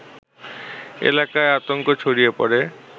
এলাকায় আতঙ্ক ছড়িয়ে পড়ে